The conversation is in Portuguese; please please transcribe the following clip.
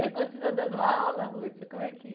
Você continua dando aula? Como é que...